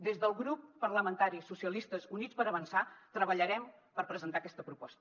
des del grup parlamentari socialistes i units per avançar treballarem per presentar aquesta proposta